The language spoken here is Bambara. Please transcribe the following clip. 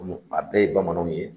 A bɛɛ ye bamananw ye